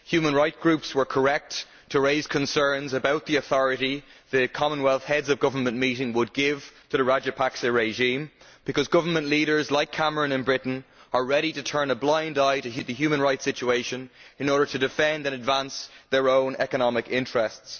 Human rights groups were correct to raise concerns about the authority the Commonwealth Heads of Government meeting would give to the Rajapaksa regime, because government leaders like Cameron in Britain are ready to turn a blind eye to the human rights situation in order to defend and advance their own economic interests.